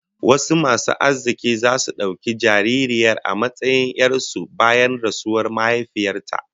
Wasu masu arziki zasu dauki jaririyar a matsayin 'yar su bayan rasuwar mahaifiyar ta